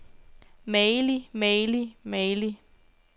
magelig magelig magelig